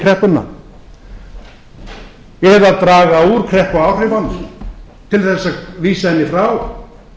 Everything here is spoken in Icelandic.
undir kreppuna eða draga úr kreppuáhrifunum til þess að vísa henni frá